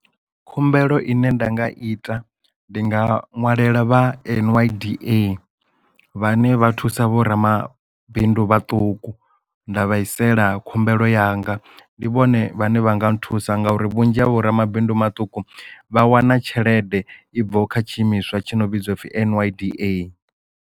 Khumbelo ine nda nga ita ndi nga ṅwalela vha N_Y_D_A vhane vha thusa vho ramabindu vhaṱuku nda vhaisela khumbelo yanga ndi vhone vhane vha nga nthusa nga uri vhunzhi havho ramabindu maṱuku vha wana tshelede i bvaho kha tshi imiswa tshi no vhidzwa upfi N_Y_D_A.